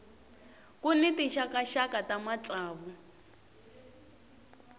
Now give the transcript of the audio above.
ku ni tinxakaxaka ta matsavu